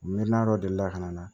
Mi na dɔ deli la ka na